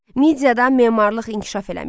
Midiyada memarlıq inkişaf eləmişdi.